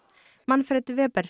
Manfred